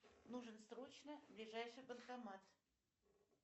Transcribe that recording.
нужен срочно ближайший банкомат